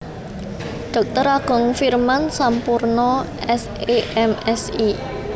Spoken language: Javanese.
Dr Agung Firman Sampurna S E M Si